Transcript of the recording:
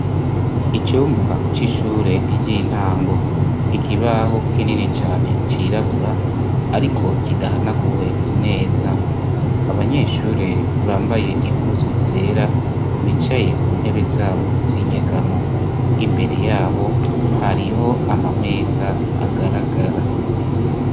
Icumba c'ishure ryintango ,ikibaho kinini cane cirabura, ariko kidahanaguwe neza ,abanyeshure bambaye impuzu zera, bicaye ku ntebe zabo z'inyegamo, imbere yabo hariho amameza agaragara.